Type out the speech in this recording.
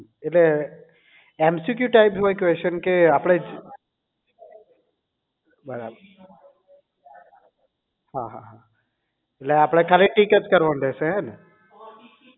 એટલે MCQ type ના હોય Question કે આપણે બરાબર હા હા નહીં એટલે આપણે ખાલી tick જ કરવાનું રહેશે હેને